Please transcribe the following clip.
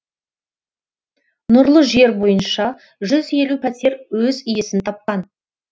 нұрлы жер бойынша жүз елу пәтер өз иесін тапқан